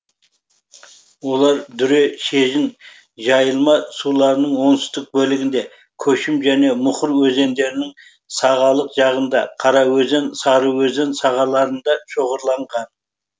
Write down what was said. олар дүре шежін жайылма суларының оңтүстік бөлігінде көшім және мұқыр өзендерінің сағалық жағында қараөзен сарыөзен сағаларында шоғырланған